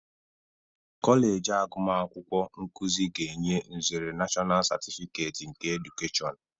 Kọleji agumakwukwo nkụzị ga-enye nzere Nashọnal Sertifiket nke Edukeshọn.